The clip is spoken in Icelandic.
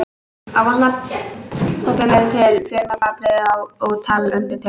Af vatnabobbum eru til fjölmörg afbrigði og ótal undirtegundir.